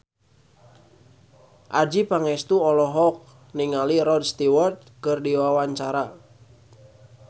Adjie Pangestu olohok ningali Rod Stewart keur diwawancara